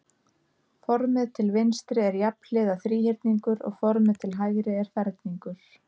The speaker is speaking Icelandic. Formið til vinstri er jafnhliða þríhyrningur og formið til hægri er ferningur.